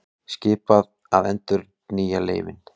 Skipað að endurnýja leyfin